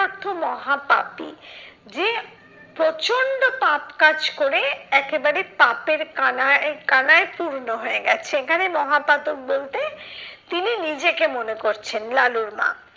অর্থ মহা পাপী যে প্রচন্ড পাপ কাজ করে একেবারে পাপের কানায় কানায় পূর্ণ হয়ে গেছে। এখানে মহাপাতক বলতে তিনি নিজেকে মনে করছেন লালুর মা।